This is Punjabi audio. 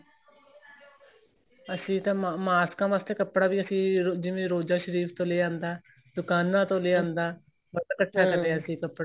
ਅਸੀਂ ਤਾਂ mask ਵਾਸਤੇ ਕੱਪੜਾ ਵੀ ਅਸੀਂ ਜਿਵੇਂ ਰੋਜਾ ਸ਼ਰੀਫ਼ ਤੋ ਲਿਆਂਦਾ ਦੁਕਾਨਾਂ ਤੋ ਲਿਆਂਦਾ ਬਹੁਤ ਇੱਕਠਾ ਕਰਿਆ ਸੀ ਕੱਪੜਾ